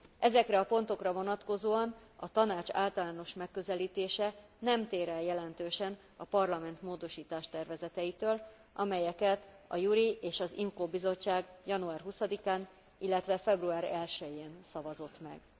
Ezekre a pontokra vonatkozóan a Tanács általános megközelítése nem tér el jelentősen a Parlament módosítástervezeteitől, amelyeket a JURI és az IMCO bizottság január 20 án, illetve február 1 jén szavazott meg.